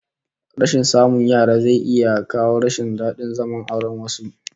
Rashin samun yara zai iya kawo rashin dadin zaman auren wasu